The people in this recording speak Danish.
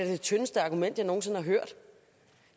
det tyndeste argument jeg nogen sinde har hørt